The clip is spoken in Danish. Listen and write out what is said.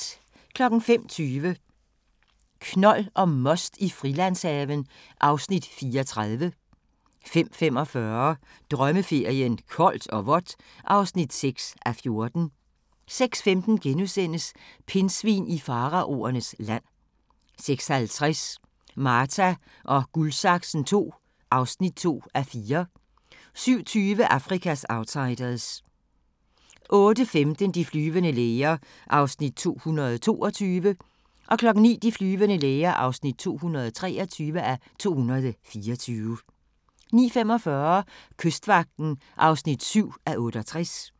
05:20: Knold og most i Frilandshaven (Afs. 34) 05:45: Drømmeferien: Koldt og vådt (6:14) 06:15: Pindsvin i faraonernes land * 06:50: Marta & Guldsaksen II (2:4) 07:20: Afrikas outsiders 08:15: De flyvende læger (222:224) 09:00: De flyvende læger (223:224) 09:45: Kystvagten (7:68)